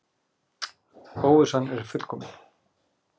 Óvissan er fullkomin.